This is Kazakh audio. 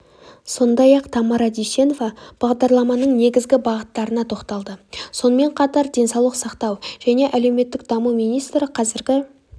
сондай-ақ тамара дүйсенова бағдарламаның негізгі бағыттарына тоқталды сонымен қатар денсаулық сақтау және әлеуметтік даму министрі қазіргі